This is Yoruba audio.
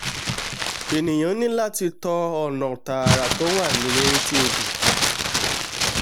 ẹ̀nìà ní láti tọ ọ̀nà tààrà tó wà létí odò